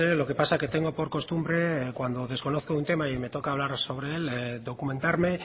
lo que pasa que tengo por costumbre cuando desconozco un tema y me toca hablar sobre el documentarme